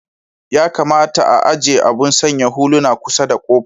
Ya kamata a'ajie abun sanya huluna kusar da kofa.